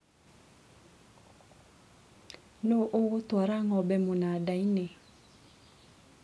Nũ ũgũtwara ngombe mũnandainĩ